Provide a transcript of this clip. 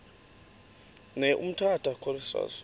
ne umtata choristers